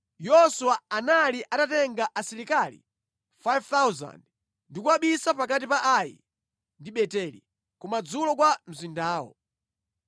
Yoswa anali atatenga asilikali 5,000 ndi kuwabisa pakati pa Ai ndi Beteli, kumadzulo kwa mzindawo.